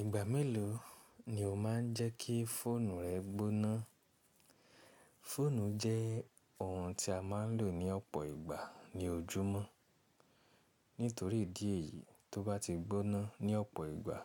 Ìgbà mélòó ni o má n jẹ́kí fóònù rẹ gbóná? Fóònù jẹ́ ohun tí a má n lò ní ọ̀pọ̀ ìgbà ní ojúmọ́. Nítorí idì éyí, tó bá ti gbóná ní ọ̀pọ̀ ìgbà,